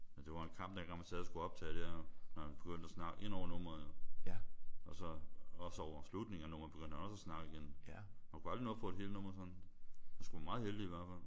Men det var en kamp dengang man sad og skulle optage der når han begyndte at snakke indover nummeret jo. Også så over slutningen af nummeret begyndte han også at snakke igen. Man kunne aldrig få et helt nummer sådan. Man skulle være meget heldig i hvert fald